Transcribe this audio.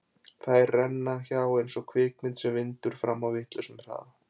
Þær renna hjá eins og kvikmynd sem vindur fram á vitlausum hraða.